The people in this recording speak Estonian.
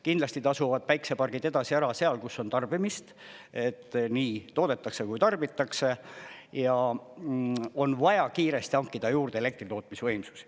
Kindlasti tasuvad päiksepargid edasi ära seal, kus on tarbimist, et nii toodetakse kui tarbitakse, ja on vaja kiiresti hankida juurde elektritootmisvõimsusi.